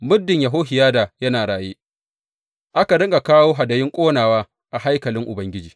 Muddin Yehohiyada yana raye, aka riƙa kawo hadayun ƙonawa a haikalin Ubangiji.